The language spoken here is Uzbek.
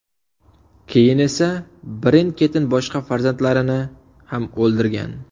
Keyin esa birin-ketin boshqa farzandlarini ham o‘ldirgan.